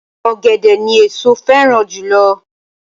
Ọ̀gẹ̀dẹ̀ ni èso féràn jùlo